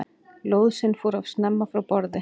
Lóðsinn fór of snemma frá borði